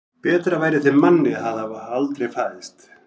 Betra væri þeim manni að hafa aldrei fæðst.